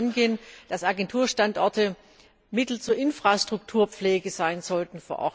Es kann nicht angehen, dass Agenturstandorte Mittel zur Infrastrukturpflege vor Ort sein sollten.